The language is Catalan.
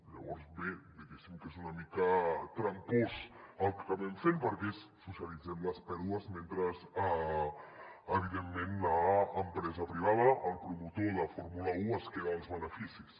llavors bé diguéssim que és una mica trampós el que acabem fent perquè és socialitzem les pèrdues mentre evidentment l’empresa privada el promotor de fórmula un es queda els beneficis